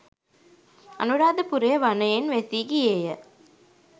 අනුරාධපුරය වනයෙන් වැසී ගියේය.